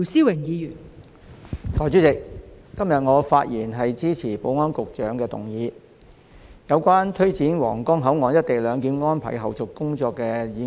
代理主席，我發言支持保安局局長動議有關推展皇崗口岸"一地兩檢"安排後續工作的議案。